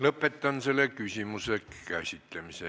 Lõpetan selle küsimuse käsitlemise.